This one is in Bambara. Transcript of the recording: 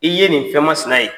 I ye nin fɛnmasina ye.